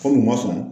Ko ma sɔn